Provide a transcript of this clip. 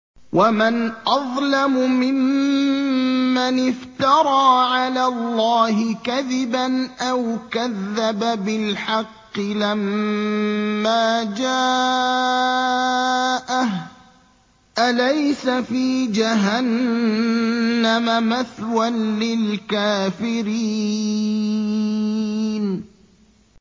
وَمَنْ أَظْلَمُ مِمَّنِ افْتَرَىٰ عَلَى اللَّهِ كَذِبًا أَوْ كَذَّبَ بِالْحَقِّ لَمَّا جَاءَهُ ۚ أَلَيْسَ فِي جَهَنَّمَ مَثْوًى لِّلْكَافِرِينَ